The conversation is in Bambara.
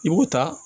I b'o ta